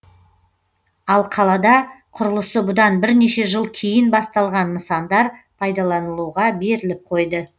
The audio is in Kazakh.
ал қалада құрылысы бұдан бірнеше жыл кейін басталған нысандар пайдаланылуға беріліп қойды